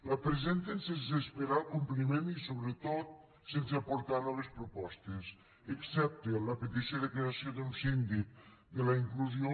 la presenten sense esperar el compliment i sobretot sense aportar noves propostes excepte la petició de creació d’un síndic de la inclusió